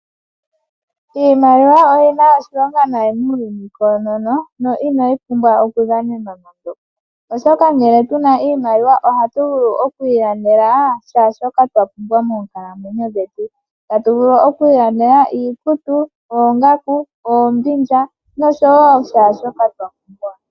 Iimaliwa oyina oshilonga muuyuni koonono, inayi pumbwa okudhanenwa nando, oshoka ngele tuna iimaliwa ohatu vulu okwiilandela shaa shoka tapumbwa moonkalamwenyo dhetu . Otatu vulu okwiilandela iikutu , oongaku, oombindja oshowoo shoka twa pumbwa.